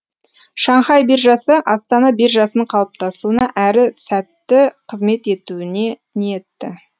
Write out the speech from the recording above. шанхай биржасы астана биржасының қалыптасуына әрі сәтті қызмет етуіне ниетті